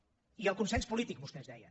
i el consens polític vostès deien